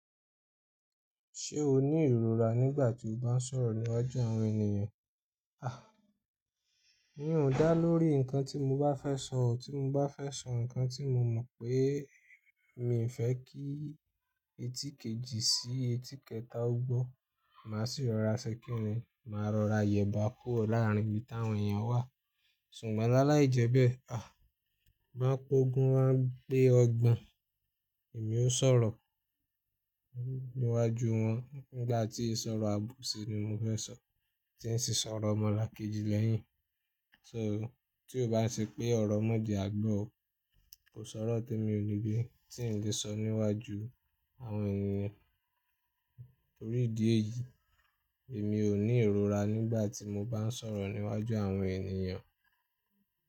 Ṣé o ní ìrora nígbà tí o bá ń sọ̀rọ̀ níwájú àwọn ènìyàn? A! N yun dá lórí ǹkan tí mo bá fẹ́ sọ o, tí mo bá fẹ́ sọ ǹkan tí mo mọ̀ pé mi n fẹ́ kí ètí kejì sí ètí kẹta ó gbọ́, màá sì rọra ṣẹ kí n lè máa rọra yẹ bá kúrò láàrín ibi táwọn ènìyàn wà. Ṣùgbọ́n lá láì jẹ bẹ́ẹ̀, a! Bo p'ógún, wa gbé ọgbọ́n èmi ó sọ̀rọ̀ níwájú wọn. Nígbà tí ì sọ̀rọ̀ àbòsí ni mo fẹ́ sọ, tí n sì sọ̀rọ̀ mọ́là kejì lẹ́yìn. So tí o bá ń ṣẹ pé ọ̀rọ̀ mọ́ jẹ àgbọ́ o, kò sọ̀rọ̀ témi ò ní gbé tí n lè sọ níwájú àwọn ènìyàn. Nítorí ìdí èyí, èmi ò ní ìrora nígbà tí mo bá ń sọ̀rọ̀ níwájú àwọn ènìyàn.